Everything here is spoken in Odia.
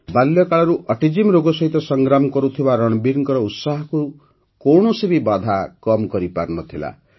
ବାଲ୍ୟକାଳରୁ ଅଟିଜମ୍ ରୋଗ ସହିତ ସଂଗ୍ରାମ କରୁଥିବା ରଣବୀରଙ୍କ ଉତ୍ସାହକୁ କୌଣସି ବି ବାଧା କମ୍ କରିପାରିନଥିଲା